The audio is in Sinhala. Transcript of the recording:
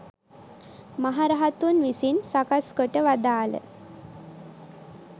මහරහතුන් විසින් සකස් කොට වදාළ